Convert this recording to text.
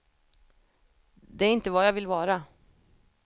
Det är inte vad jag vill vara.